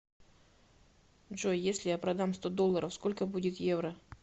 джой если я продам сто долларов сколько будет евро